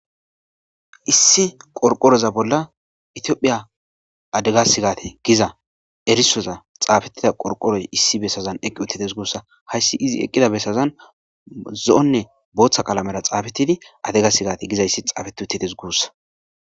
issi qorqoroza bolla itiophphiya adegasi gate giza erisoza xaabetida qorqoroy issi bessazan eqqi uttetes guussa hayssi izi eqqida bessazan zo7onne booththa qalamera xaabetidi adegasigate gizayssi xaafeti uttetes guussa